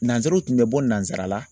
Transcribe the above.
Nanzaraw tun bɛ bɔ nanzara la